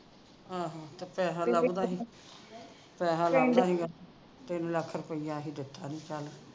ਆਹੋ ਪੈਹਾ ਲੱਥਦਾ ਨਹੀਂ ਗਾ ਤਿੰਨ ਲੱਖ ਰੁਪਿਆ ਅਸੀਂ ਦਿੱਤਾ ਸੀ ਚੱਲ